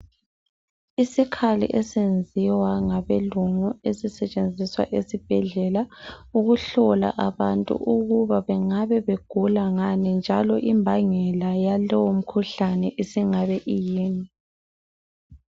Isikhali esiyenziwa ngabelungu esisetshenziswa esibhedlela ukuhlola abantu ukuba bengabe begula ngani njalo imbangela yalowu mkhuhlane isingabe iyini.